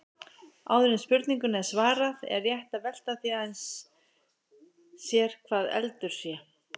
Áður en spurningunni er svarað er rétt að velta því aðeins sér hvað eldur sé.